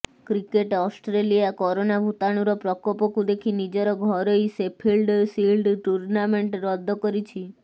cricket Australia corona ଭୂତାଣୁର ପ୍ରକୋପକୁ ଦେଖି ନିଜର ଘରୋଇ ସେଫିଲ୍ଡ ସିଲ୍ଡ ଟୂର୍ଣ୍ଣାମେଣ୍ଟ ରଦ୍ଦ କରିଛି